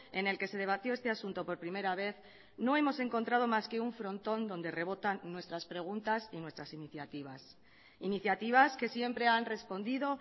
en el que se debatió este asunto por primera vez no hemos encontrado más que un frontón donde rebotan nuestras preguntas y nuestras iniciativas iniciativas que siempre han respondido